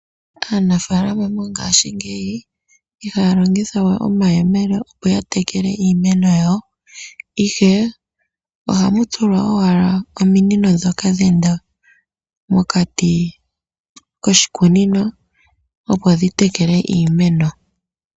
Aanafaalama mongaashingeyi ihaya longithawe omayemele opo ya tekele iimeno yawo. Ihe ohamu tulwa owala ominino ndhoka dheenda mokati koshikunino. Opo dhi tekele iimeno.